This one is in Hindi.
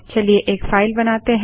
चलिए फाइल बनाते हैं